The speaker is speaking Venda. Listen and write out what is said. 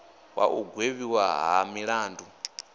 wa u gwevhiwa ha milandu